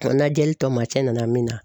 N najɛli tɔ ma cɛ nana min na